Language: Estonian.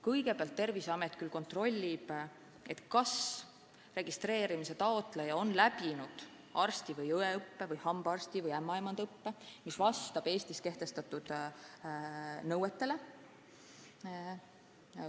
Kõigepealt Terviseamet küll kontrollib, kas registreerimise taotleja on läbinud arsti- või õeõppe või hambaarsti- või ämmaemandaõppe, mis vastab Eestis kehtestatud nõuetele.